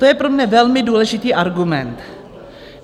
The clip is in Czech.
To je pro mne velmi důležitý argument.